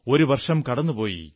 ഒരു വർഷം കടന്നുപോയി